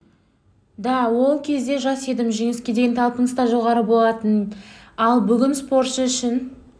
да ол кезде жас едім жеңіске деген талпыныс та жоғары болатын ал бүгінде спортшы үшін